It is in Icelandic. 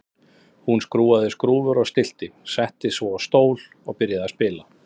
Hún skrúfaði skrúfur og stillti, settist svo á stól og byrjaði að spila.